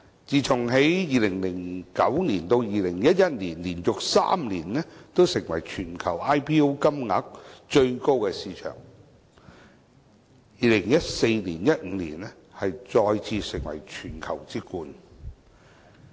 自從2009年至2011年連續3年成為全球 IPO 金額最高的市場後，香港在2014年、2015年再次成為全球之冠。